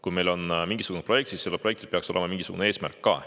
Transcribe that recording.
Kui meil on mingisugune projekt, siis sellel peaks olema mingisugune eesmärk ka.